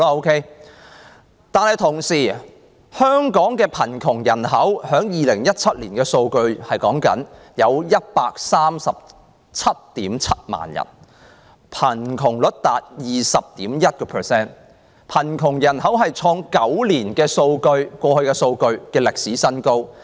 與此同時，香港的貧窮人口在2017年是 1,377 000人，貧窮率達 20.1%， 貧窮人口創過去9年的歷史新高。